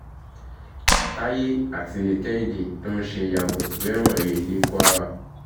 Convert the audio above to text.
táyé àti kehinde tó ń ṣe yàbò rẹ̀wọ̀n he ní kwara